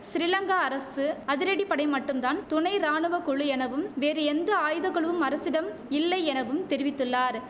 சிறிலங்கா அரசு அதிரடிப்படை மட்டும்தான் துணை ராணுவ குழு எனவும் வேறு எந்த ஆயுதக்குழுவும் அரசிடம் இல்லை எனவும் தெரிவித்துள்ளார்